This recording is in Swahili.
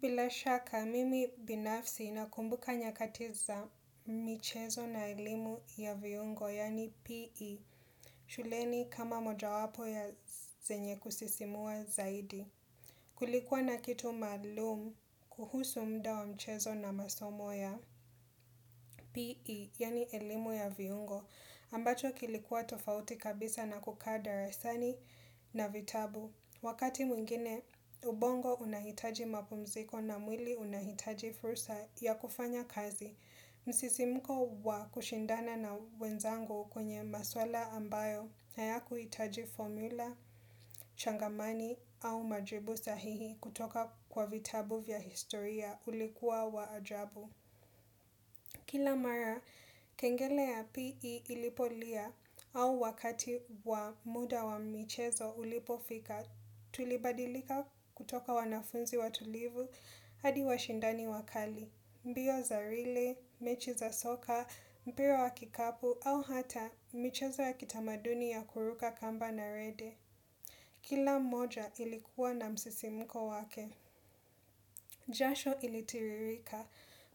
Bila shaka, mimi binafsi nakumbuka nyakati za michezo na elimu ya viungo, yaani PE, shuleni kama moja wapo ya zenye kusisimua zaidi. Kulikuwa na kitu maalum kuhusu muda wa mchezo na masomo ya PE, yaani elimu ya viungo, ambacho kilikuwa tofauti kabisa na kukaa darasani na vitabu. Wakati mwingine ubongo unahitaji mapumziko na mwili unahitaji fursa ya kufanya kazi, msisimuko wa kushindana na wenzangu kwenye maswala ambayo hayakuhitaji formula, changamani au majibu sahihi kutoka kwa vitabu vya historia ulikuwa wa ajabu. Kila mara, kengele ya PE ilipolia au wakati wa muda wa michezo ulipofika tulibadilika kutoka wanafunzi watulivu, hadi washindani wakali, mbio za rile, mechi za soka, mpira wa kikapu au hata michezo ya kitamaduni ya kuruka kamba na rede. Kila moja ilikuwa na msisimuko wake, jasho ilitiririka,